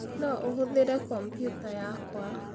No ũhũthĩre compũer yakwa.